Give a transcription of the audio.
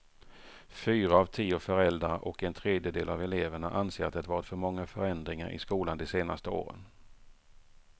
Fyra av tio föräldrar och en tredjedel av eleverna anser att det varit för många förändringar i skolan de senaste åren.